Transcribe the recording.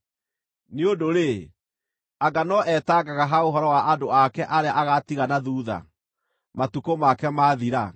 Nĩ ũndũ-rĩ, anga no eetangaga ha ũhoro wa andũ ake arĩa agaatiga na thuutha, matukũ make maathira?